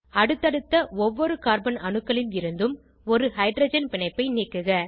அடுத்தடுத்த ஒவ்வொரு கார்பன் அணுக்களில் இருந்தும் ஒரு ஹைட்ரஜன் பிணைப்பை நீக்குக